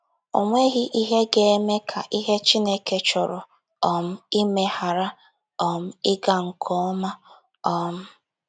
O nweghị ihe ga - eme ka ihe Chineke chọrọ um ime ghara um ịga nke ọma. um